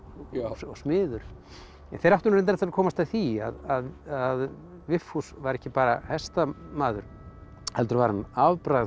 og smiður þeir áttu nú reyndar eftir að komast að því að Vigfús var ekki bara hestamaður heldur var hann afbragðs